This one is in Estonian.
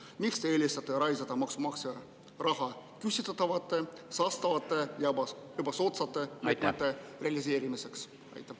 Miks te eelistate raisata maksumaksja raha küsitavate, saastavate ja ebasoodsate ideede realiseerimiseks?